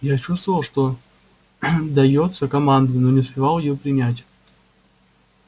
я чувствовал что даётся команда но не успевал её принять